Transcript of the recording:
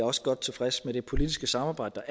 også godt tilfreds med det politiske samarbejde